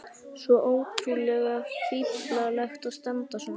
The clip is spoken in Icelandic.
Svo ótrúlega fíflalegt að standa svona.